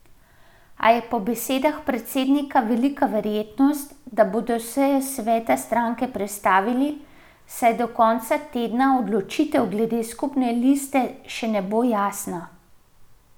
A je po besedah predsednika velika verjetnost, da bodo sejo sveta stranke prestavili, saj do konca tedna odločitev glede skupne liste še ne bo jasna.